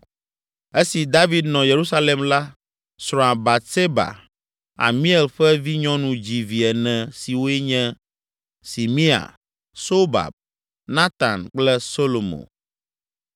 Esi David nɔ Yerusalem la, srɔ̃a Batseba, Amiel ƒe vinyɔnu dzi vi ene siwoe nye: Simea, Sobab, Natan kple Solomo.